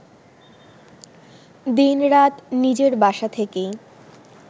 দিন-রাত নিজের বাসা থেকেই